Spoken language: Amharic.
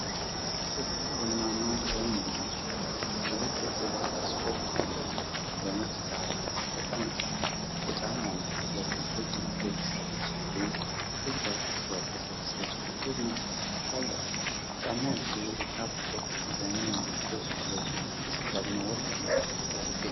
ጥቁር ቡናማ ቀለም ያላቸው ሁለት የቆዳ ኦክስፎርድ ጫማዎች በነጭ ዳራ ላይ ተቀምጠዋል። ጫማዎቹ በብልጭልጭ መልኩ የተሰሩ ሲሆኑ፣ ፊት ለፊት በክር የተሰሩ ጥቁር ማሰሪያዎች አሏቸው። ጫማዎቹ የካፕ-ቶ ዲዛይን ያላቸው ሲሆኑ፣ ከስር ደግሞ ወፍራም ጥቁር ሶል ይገኛል።